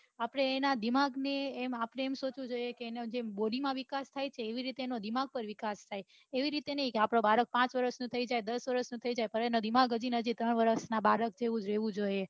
આપડે એના દિમાગ ને આપડે એમ, સોચવું જોઈએ કે એ નો જેમ બોડી માં વીકાસ થાય છે તેમ દિમાગ નો વિકાસ થાય એવી રીતે ની આપડો બાળક પાંચ વર્ષ નો થઈ જાય તોયે એનું દિમાગ હજી હજી ત્રણ વર્ષ ના બાળક જેવું રહ્યું જોઈએ